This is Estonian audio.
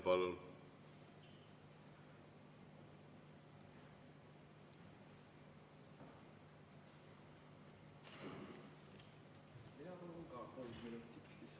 Palun!